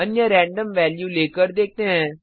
अन्य random value लेकर देखते हैं